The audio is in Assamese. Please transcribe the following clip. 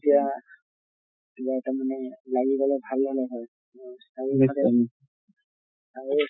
এতিয়া এতিয়া তাৰ মানে লাগি গলে ভাল হʼলে হয় চাই আছো